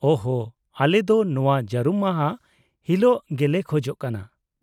-ᱳᱦ ᱦᱳ, ᱟᱞᱮ ᱫᱚ ᱱᱚᱶᱟ ᱡᱟᱹᱨᱩᱢ ᱢᱟᱦᱟ ᱦᱤᱞᱤᱜ ᱜᱮᱞᱮ ᱠᱷᱚᱡᱚᱜ ᱠᱟᱱᱟ ᱾